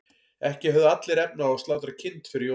ekki höfðu allir efni á að slátra kind fyrir jólin